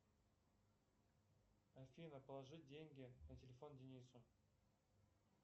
афина положи деньги на телефон денису